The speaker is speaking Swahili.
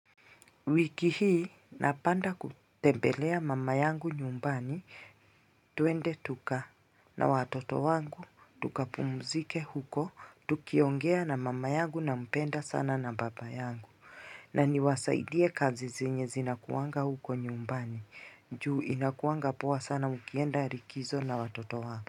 Wiki hii napanga kutembelea mama yangu nyumbani twende tuka na watoto wangu tukapumzike huko tukiongea na mama yangu na mpenda sana na baba yangu na niwasaidie kazi zenye zinakuwanga huko nyumbani juu inakuwanga poa sana ukienda likizo na watoto wako.